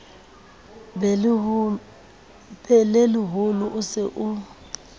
be leholo o se o